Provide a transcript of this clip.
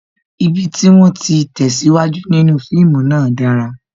Ibi tí wón ti tesiwaju nínú fíìmù náà dára